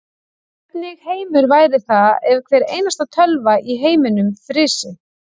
Hvernig heimur væri það ef hvar einasta tölva í heiminum frysi.